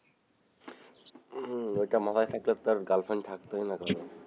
ওই টা মাথায় থাকলে তো girlfriend থাকতই না কোনোদিন,